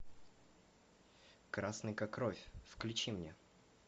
красный как кровь включи мне